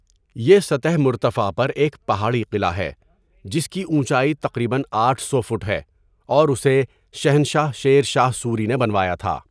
یہ سطح مرتفع پر ایک پہاڑی قلعہ ہے جس کی اونچائی تقریباً آٹھ سو فٹ ہے اور اسے شہنشاہ شیر شاہ سوری نے بنوایا تھا.